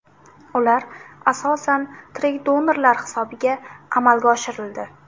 Ular asosan tirik donorlar hisobiga amalga oshirildi.